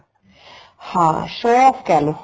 ਹਾਂ show off ਕਹਿਲੋ